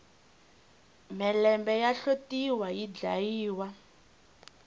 mhelembe ya hlotiwa yi dlayiwa